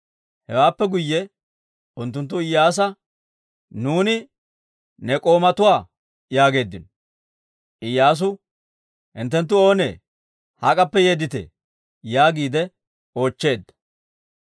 Hewaappe guyye unttunttu Iyyaasa, «Nuuni ne k'oomatuwaa» yaageeddino. Iyyaasu, «Hinttenttu oonee? Hak'appe yeedditee?» yaagiide oochcheedda.